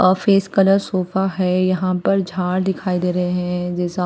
office colour sofa है यहाँ पर झाड दिखाई दे रहे है जैसा--